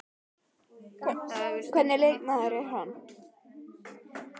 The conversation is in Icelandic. Hvernig leikmaður er hann?